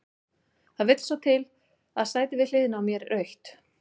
Það vill svo til að sætið við hliðina á mér er autt.